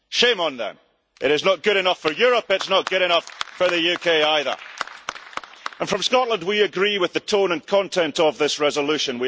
Shame on them. It is not good enough for Europe, it is not good enough for the UK either. And from Scotland, we agree with the tone and content of this resolution.